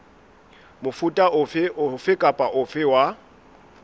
mofuta ofe kapa ofe wa